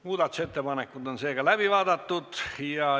Muudatusettepanekud on läbi vaadatud.